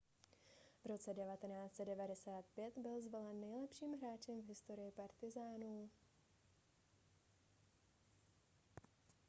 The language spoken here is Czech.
v roce 1995 byl zvolen nejlepším hráčem v historii partizánů